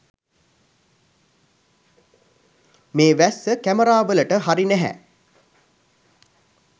මේ වැස්ස කැමරාවලට හරි නැහැ.